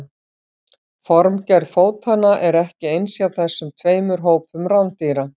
formgerð fótanna er ekki eins hjá þessum tveimur hópum rándýra